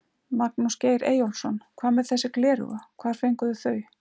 Magnús Geir Eyjólfsson: Hvað með þessi gleraugu, hvar fenguð þið þau?